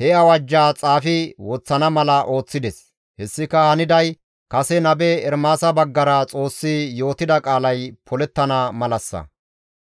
he awajjaa xaafi woththana mala ooththides; hessika haniday kase nabe Ermaasa baggara Xoossi yootida qaalay polettana malassa.